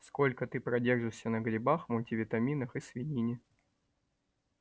сколько ты продержишься на грибах мультивитаминах и свинине